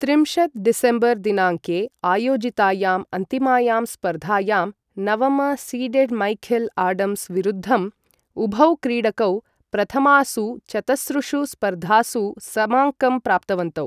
त्रिंशत् डिसेम्बर् दिनाङ्के आयोजितायाम् अन्तिमायां स्पर्धायां, नवम सीडेड् मैखेल् आडम्स् विरुद्धम्, उभौ क्रीडकौ प्रथमासु चतसृषु स्पर्धासु समाङ्कं प्राप्तवन्तौ।